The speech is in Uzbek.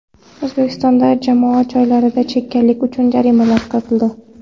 O‘zbekistonda jamoat joylarida chekkanlik uchun jarimalar kiritildi.